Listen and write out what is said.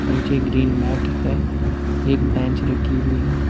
नीचे green mat है एक बेंच रखी हुई है।